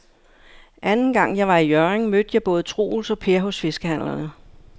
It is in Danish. Anden gang jeg var i Hjørring, mødte jeg både Troels og Per hos fiskehandlerne.